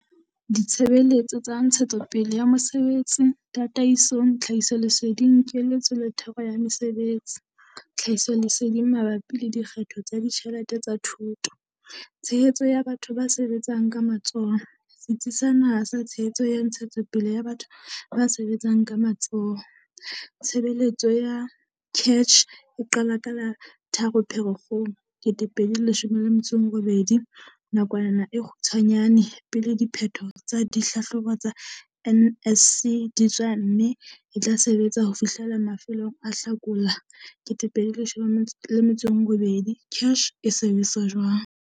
Ditshebeletso tsa ntshetsopele ya mosebetsi tataisong, tlhahisoleseding, keletso le thero ya tsa mesebetsi. Tlhahisoleseding mabapi le dikgetho tsa ditjhelete tsa thuto. Tshehetso ya batho ba sebetsang ka matsoho. Setsi sa Naha sa Tshehetso ya Ntshetsopele ya Batho ba sebetsang ka Matsoho. Tshebeletso ya CACH e qala ka la 3 Pherekgong 2018, nakwana e kgutshwanyane pele diphetho tsa dihlahlobo tsa NSC di tswa mme e tla sebetsa ho fihlela mafelong a Hlakola 2018. CACH e sebetsa jwang?